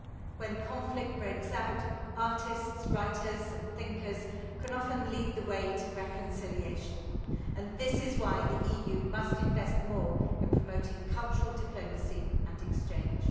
When conflict breaks out, artists, writers and thinkers can often lead the way to reconciliation, and this is why the EU must invest more in promoting cultural diplomacy and exchange.